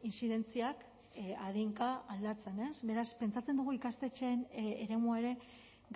intzidentziak adinka aldatzen beraz pentsatzen dugu ikastetxeen eremua ere